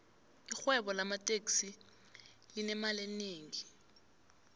irhwebo lamateksi linemali enengi